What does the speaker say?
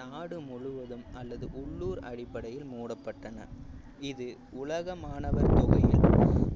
நாடு முழுவதும் அல்லது உள்ளூர் அடிப்படையில் மூடப்பட்டன இது உலக மாணவர் தொகையில்